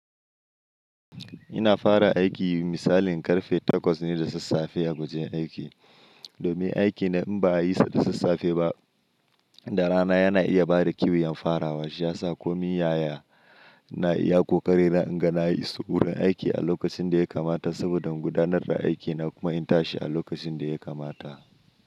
Ina fara aiki misalin karfe 8:00 ne da sassafiya a wajen aiki. Domin aiki na in ba a yi sa da sassafe ba, da rana yana iya bada kiyuyan farawa. Shi ya sa komi yaya na iya ƙoƙari na inga na yi sukunin aiki a lokacin da ya kamata saboda in gudanar da aiki na kuma in tashi a lokacin da ya kamata.